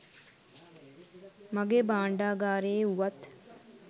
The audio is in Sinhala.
මගේ භාණ්ඩාගාරයේ වුවත්